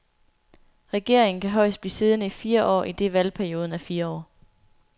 Regeringen kan højst blive siddende i fire år, idet valgperioden er fire år.